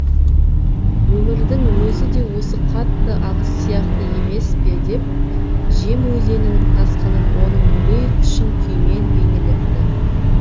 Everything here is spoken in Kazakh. өмірдің өзі де осы қатты ағыс сияқты емес пе деп жем өзенінің тасқынын оның дүлей күшін күймен бейнелепті